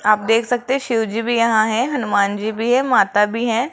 आप देख सकते हैं शिवजी भी यहां हैं हनुमान जी भी है माता भी हैं।